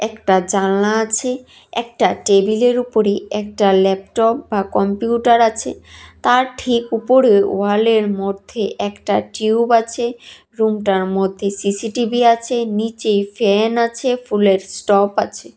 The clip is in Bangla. একটা জানালা আছে একটা টেবিলের উপরে একটা ল্যাপটপ বা কম্পিউটার আছে তার ঠিক উপরে ওয়ালে মধ্যে একটা টিউব আছে রুমটার মধ্যে সিসিটিভি আছে নিচে ফ্যান আছে ফুলের স্টপ আছে।